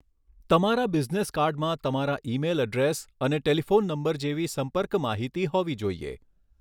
તમારા બિઝનેસ કાર્ડમાં તમારા ઇમેઇલ એડ્રેસ અને ટેલિફોન નંબર જેવી સંપર્ક માહિતી હોવી જોઇએ.